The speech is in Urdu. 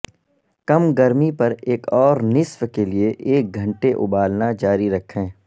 کم گرمی پر ایک اور نصف کے لئے ایک گھنٹے ابالنا جاری رکھیں